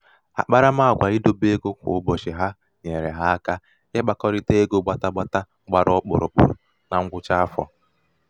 akparamàgwà idebe egō kwà ụbọ̀chị̀ ha nyèèrè ha aka ịkpākọ̀tà ego gbàtagbàta gbara ọkpụ̀rụ̀kpụ̀ na ṅgwụcha afọ̀